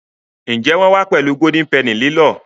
Njé wón wá pèlú Golden Penny lilọ?